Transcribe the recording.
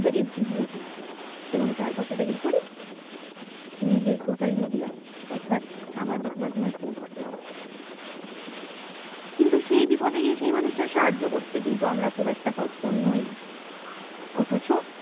এবং তারপর সেটা কি করি নিজের social media অর্থাৎ সামাজিক মাধ্যমে post করি কিন্তু সেই বিপদে গিয়ে সেই মানুষটার সাহায্য করতে কিন্তু আমরা খুব একটা তৎপর নই অথচ